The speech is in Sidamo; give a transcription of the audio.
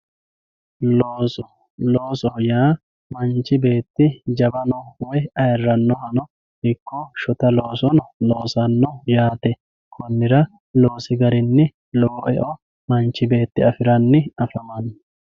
Looso, loosoho yaa manchi beeti jawano ikko woyi ayyiranoha iko shotta loosono yaate konira loosi garinni lowo e'o manchi beeti afiranni afamano.